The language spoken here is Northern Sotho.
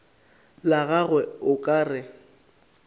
la gagwe o ka re